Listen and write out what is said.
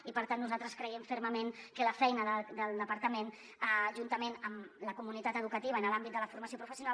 i per tant nosaltres creiem fermament que la feina del departament juntament amb la comunitat educativa i en l’àmbit de la formació professional